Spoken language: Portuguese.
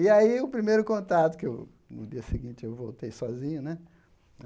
E aí, o primeiro contato, que eu no dia seguinte eu voltei sozinho, né?